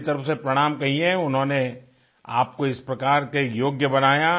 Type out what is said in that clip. मेरी तरफ से प्रणाम कहिये उन्होंने आपको इस प्रकार के योग्य बनाया